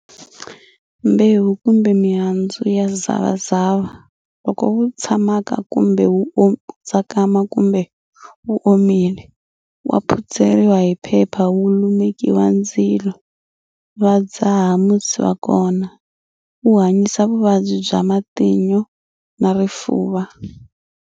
Mbewu kumbe mihandzu ya zavazava loko wu tsakama kumbe wu omile, wa phutseriwa hi phepha wu lumekiwa ndzilo va dzaha musi wa kona, wu hanyisa vuvabyi bya matino na rifuva.